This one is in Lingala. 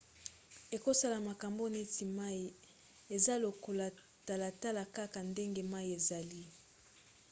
ekosala makambo neti mai. eza lokola talatala kaka ndenge mai ezali